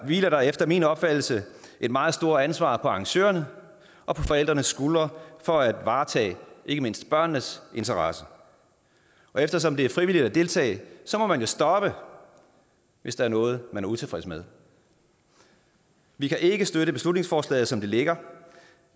hviler der efter min opfattelse et meget stort ansvar på arrangørernes og forældrenes skuldre for at varetage ikke mindst børnenes interesse eftersom det er frivilligt at deltage må man stoppe hvis der er noget man er utilfreds med vi kan ikke støtte beslutningsforslaget som det ligger